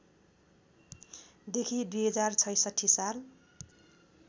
देखि २०६६ साल